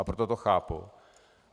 A proto to chápu.